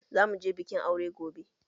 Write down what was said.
Zamu je bikin aure gobe